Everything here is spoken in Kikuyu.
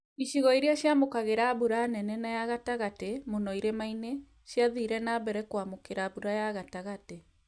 Icigo iria ciamũkagĩra mbura nene na ya gatagatĩ, mũno irĩma-inĩ ciathire nambere kwamũkĩra mbura ya gatagatĩ